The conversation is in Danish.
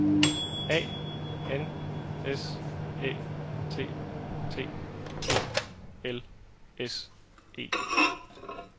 A N S Æ T T E L S E